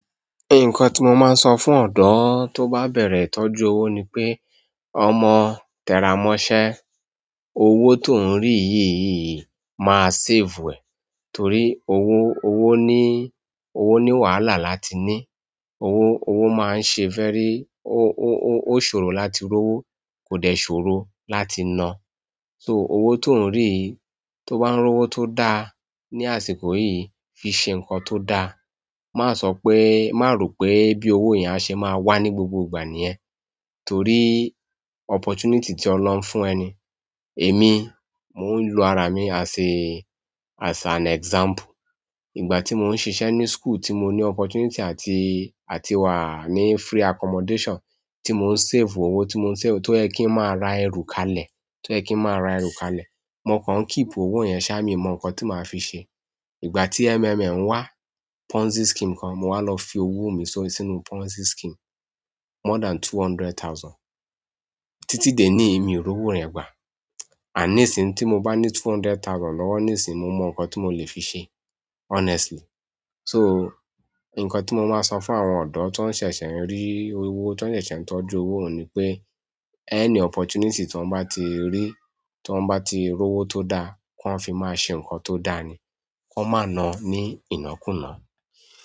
Nǹkan tí mo máa ń sọ fún ọ̀dọ́ tó bá bẹ̀rẹ̀ ìtọ́jú owó ni pé, ọmọ tẹra mọ́ṣẹ́, owó tó ń rí yìí máa save ẹ, torí owó, owó ní, owó ní wàhálà láti ní. Owó, owó máa ń ṣe very, o ṣòro láti rówó, kò dẹ̀ ṣòro láti na. So owó tó ń rí yìí, tó bá ń rówó tó dá ní àsìkò yìí, fi ṣe ǹkan tó dá. Má sọ pé, má ro pé bí owó yẹn a ṣe máa wà ní gbogbo ìgbà níyẹn, torí opportunity tí Ọlọ́hun fún ẹ ni. Èmi, mò ń lo ara mi as a, as an example. Ìgbà tí mò ń ṣiṣẹ́ ní school tí mo ní opportunity àti, àti wà ní free accommodation tí mò ń save owó, tí mò ń save, tó yẹ kí n máa ra ẹrù kalẹ̀, tó yẹ kí n máa ra ẹrù kalẹ̀. Mo kàn keep owó yẹn ṣá, mi ò mọ̀ ǹkan tí màá fi ṣe. Ìgbà tí MMM wá, Ponzi scheme kan, mo wá lọ fi owó mi sínú Ponzi scheme more than two hundred thousand. Titi di ẹni yi mio ri owo yen gba nísìn tí mo bá need two hundred thousand lọ́wọ́ níìsín, mo mọ̀ ǹkan tí mo lè fi ṣe honestly. So, ǹkan tí mo máa ń sọ fún àwọn ọ̀dọ́ tó ń ṣẹ̀ṣẹ̀ ń rí owó, tó ń ṣẹ̀ṣẹ̀ ń tọ́jú owó oun ni pé, any opportunity ti wóń bá ti rí, ti wóń bá ti rówó tó dá, kí wọ́n fi máa ṣe ǹkan tó dá ni. Kí wọ́n má na ní ìnakùná.